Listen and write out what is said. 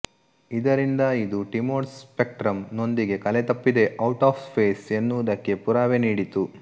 ಇದರಿಂದ ಇದು ಟಿಮೊಡ್ ಸ್ಪೆಕ್ಟ್ರಮ್ ನೊಂದಿಗೆ ಕಲೆತಪ್ಪಿದೆ ಔಟ್ ಆಫ್ ಫೇಸ್ ಎನ್ನುವುದಕ್ಕೆ ಪುರಾವೆ ನೀಡಿತು